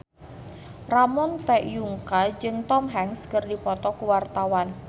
Ramon T. Yungka jeung Tom Hanks keur dipoto ku wartawan